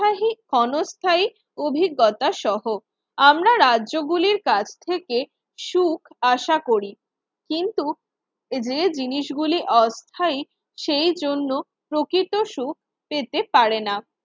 ক্ষণস্থায়ী অভিজ্ঞতা সহ আমরা রাজ্যগুলির কাছ থেকে সুখ আশা করি কিন্তু যে জিনিসগুলি অস্থায়ী সেই জন্য প্রকৃত সুখ পেতে পারে না।